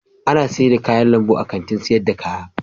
Ana sayar da kayan lambu a Kantin sayar da kaya.